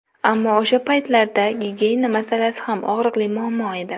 Ammo o‘sha paytlarda gigiyena masalasi ham og‘riqli muammo edi.